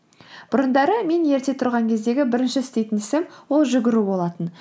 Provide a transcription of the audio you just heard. бұрындары мен ерте тұрған кездегі бірінші істейтін ісім ол жүгіру болатын